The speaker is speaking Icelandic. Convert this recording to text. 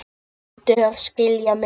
Reyndu að skilja mig.